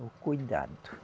O cuidado.